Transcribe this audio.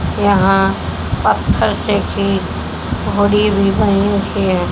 यहां पत्थर से भी --